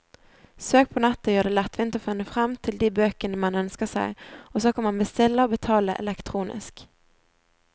Søk på nettet gjør det lettvint å finne frem til de bøkene man ønsker seg, og så kan man bestille og betale elektronisk.